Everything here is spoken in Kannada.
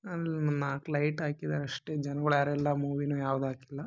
ಅಲೊಂದ್ ನಾಕ್ ಲೈಟ್ ಹಾಕಿದರೆ ಅಷ್ಟೇ ಜನಗಳು ಯಾರು ಇಲ್ಲ ಮೂವಿ ಯಾವುದು ಹಾಕಿಲ್ಲ.